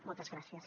moltes gràcies